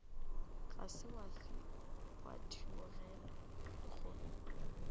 ga se wa theogela lehono